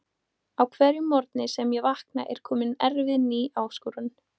Á hverjum morgni sem ég vakna er komin erfið ný áskorun.